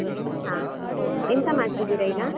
ಹಾ, ಎಂತ ಮಾಡ್ತಿದ್ದೀರಾ ಈಗ?